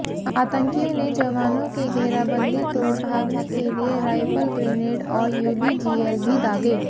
आतंकियों ने जवानों की घेराबंदी तोड़ भागने के लिए राइफल ग्रेनेड और यूबीजीएल भी दागे